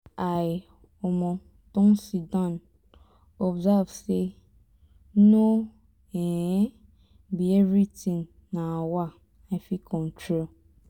i um don sidon observe say no um be everything um i fit control